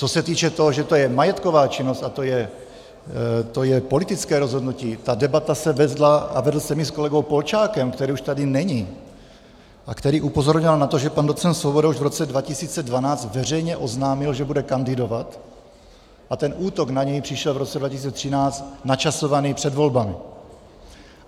Co se týče toho, že to je majetková činnost, a to je politické rozhodnutí, ta debata se vedla a vedl jsem ji s kolegou Polčákem, který už tady není a který upozorňoval na to, že pan docent Svoboda už v roce 2012 veřejně oznámil, že bude kandidovat, a ten útok na něj přišel v roce 2013, načasovaný před volbami.